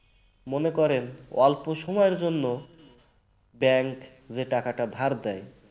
মনে করেন অল্প সময়ের জন্য bank যে টাকাটা ধার দেয়